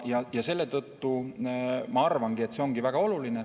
Ja selle tõttu ma arvan, et see ongi väga oluline.